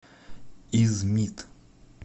измит